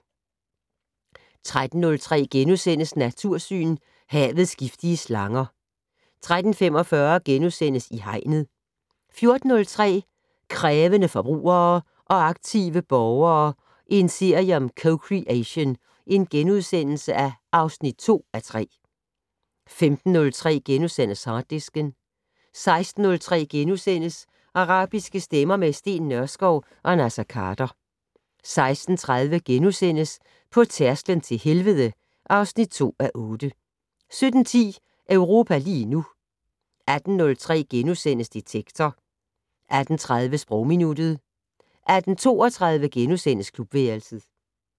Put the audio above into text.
13:03: Natursyn: Havets giftige slanger * 13:45: I Hegnet * 14:03: Krævende forbrugere og aktive borgere - en serie om co-creation (2:3)* 15:03: Harddisken * 16:03: Arabiske stemmer - med Steen Nørskov og Naser Khader * 16:30: På tærsklen til helvede (2:8)* 17:10: Europa lige nu 18:03: Detektor * 18:30: Sprogminuttet 18:32: Klubværelset *